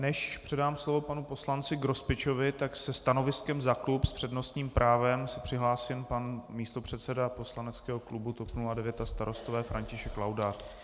Než předám slovo panu poslanci Grospičovi, tak se stanoviskem za klub s přednostním právem se přihlásil pan místopředseda poslaneckého klubu TOP 09 a Starostové František Laudát.